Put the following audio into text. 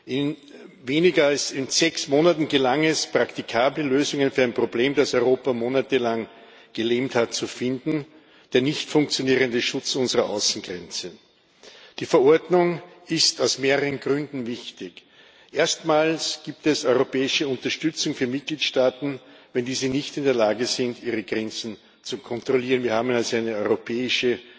In weniger als sechs Monaten gelang es, praktikable Lösungen für ein Problem, das Europa monatelang gelähmt hat, zu finden den nicht funktionierenden Schutz unserer Außengrenzen. Die Verordnung ist aus mehreren Gründen wichtig Erstmals gibt es europäische Unterstützung für Mitgliedstaaten, wenn diese nicht in der Lage sind, ihre Grenzen zu kontrollieren wir haben also eine europäische